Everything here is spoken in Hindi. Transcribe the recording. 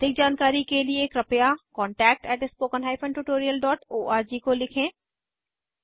अधिक जानकारी कर लिए कृपया contactspoken tutorialorg को लिखें